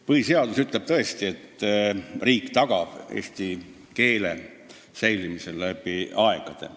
Põhiseadus ütleb tõesti, et riik tagab eesti keele säilimise läbi aegade.